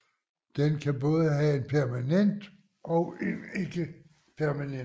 Den kan både have en permanent og en ikke permanent mast